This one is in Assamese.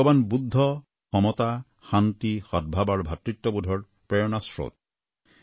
ভগবান বুদ্ধ মমতা আৰু শান্তি আৰু সদভাৱ আৰু ভাতৃত্ববোধৰ প্ৰেৰণাস্ৰোত